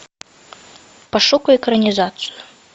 пошукай экранизацию